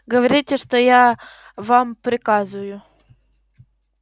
говорите то что я вам приказываю